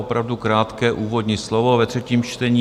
Opravdu krátké úvodní slovo ve třetím čtení.